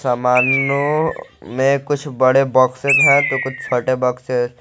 समानो मे कुछ बड़े बॉक्सेज है तो कुछ छोटे बॉक्सेज --